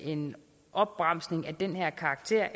en opbremsning af den her karakter